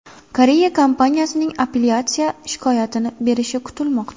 Koreya kompaniyasining apellyatsiya shikoyatini berishi kutilmoqda.